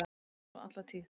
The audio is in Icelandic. Var svo alla tíð.